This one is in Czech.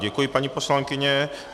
Děkuji, paní poslankyně.